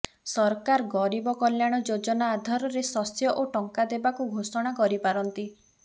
ସରକାର ଗରିବ କଲ୍ୟାଣ ଯୋଜନା ଆଧାରରେ ଶସ୍ୟ ଓ ଟଙ୍କା ଦେବାକୁ ଘୋଷଣା କରି ପାରନ୍ତି